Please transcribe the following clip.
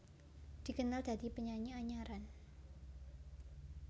Dikenal dadi penyanyi anyaran